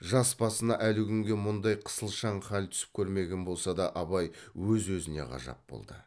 жас басына әлі күнге мұндай қысылшаң хал түсіп көрмеген болса да абай өз өзіне ғажап болды